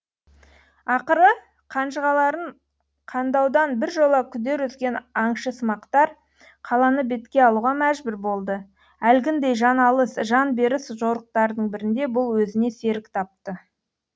ақыры қанжығаларын қандаудан біржола күдер үзген аңшысымақтар қаланы бетке алуға мәжбүр болды әлгіндей жан алыс жан беріс жорықтардың бірінде бұл өзіне серік тапты